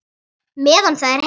Meðan það er heitt.